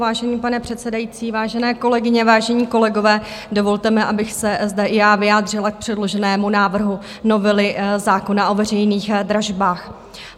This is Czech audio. Vážený pane předsedající, vážené kolegyně, vážení kolegové, dovolte mi, abych se zde i já vyjádřila k předloženému návrhu novely zákona o veřejných dražbách.